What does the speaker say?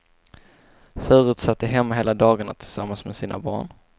Förut satt de hemma hela dagarna tillsammans med sina barn.